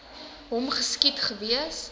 hom geskiet gewees